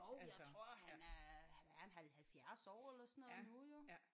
Jo jeg tror han er han er en 70 år eller sådan noget nu jo